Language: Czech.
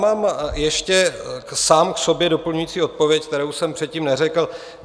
Mám ještě sám k sobě doplňující odpověď, kterou jsem předtím neřekl.